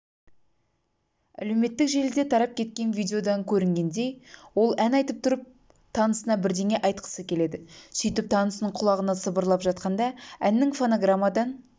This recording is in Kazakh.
әлеуметтік желіде тарап кеткен видеодан көрінгендей ол ән айтып тұрып танысына бірдеңе айтқысы келеді сөйтіп танысының құлағына сыбырлап жатқанда әннің фонограммадан